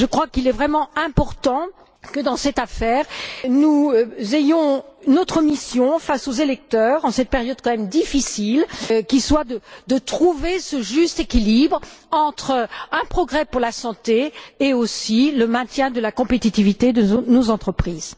Il est vraiment important que, dans cette affaire, nous exercions notre mission face aux électeurs en cette période difficile, qui est de trouver ce juste équilibre entre un progrès pour la santé et aussi le maintien de la compétitivité de nos entreprises.